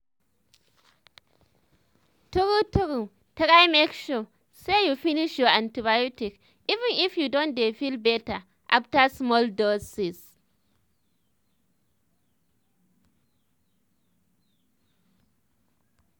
true true try make sure say you finish your antibiotics even if you don dey feel better after small doses.